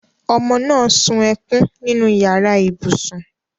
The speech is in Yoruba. Omo náà sun ẹkùn nínú yàrá ibùsùn